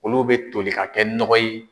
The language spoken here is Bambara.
Olu bɛ toli ka kɛ nɔgɔ ye.